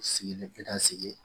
Sigilen kɛ ka